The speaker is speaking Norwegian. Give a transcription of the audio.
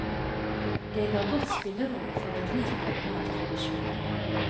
Det ga godt spillerom for en rik verbal tradisjon.